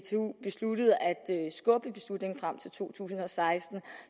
skubbe beslutningen frem til to tusind og seksten